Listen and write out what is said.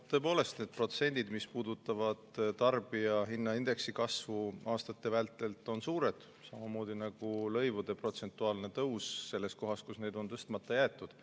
Tõepoolest, need protsendid, mis puudutavad tarbijahinnaindeksi kasvu aastate vältel, on suured, samamoodi nagu lõivude protsentuaalne tõus selles kohas, kus need on tõstmata jäetud.